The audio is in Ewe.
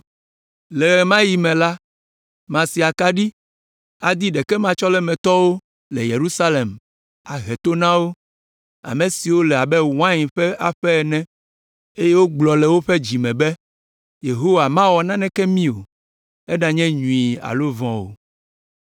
Le ɣe ma ɣi me la, masi akaɖi adi ɖekematsɔlemetɔwo le Yerusalem ahe to na wo, ame siwo le abe wain ƒe aƒe ene, eye wogblɔ le woƒe dzi me be, ‘Yehowa mawɔ naneke mí, eɖanye nyui alo vɔ̃ o.’